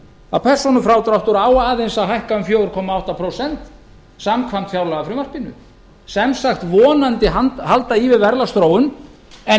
að persónufrádráttur á aðeins að hækka um fjóra komma átta prósent samkvæmt fjárlagafrumvarpinu sem sagt vonandi halda í við launaþróun en